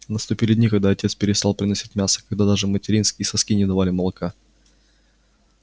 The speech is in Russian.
наступили дни когда отец переслал приносить мясо когда даже материнские соски не давали молока